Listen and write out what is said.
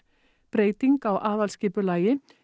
breyting á aðalskipulagi